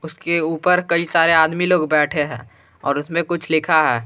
उसके ऊपर कई सारे आदमी लोग बैठे हैं और उसमें कुछ लिखा है।